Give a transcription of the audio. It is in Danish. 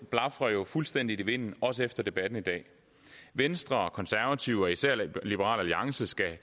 blafrer jo fuldstændig i vinden også efter debatten i dag venstre konservative og især liberal alliance skal